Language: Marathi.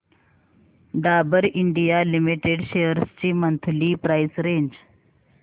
डाबर इंडिया लिमिटेड शेअर्स ची मंथली प्राइस रेंज